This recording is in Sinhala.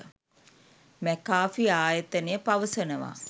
මැකා‍ෆි ආයතනය පවසනවා